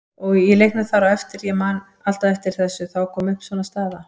Í leiknum þar á eftir, ég man alltaf eftir þessu, þá kom upp svona staða.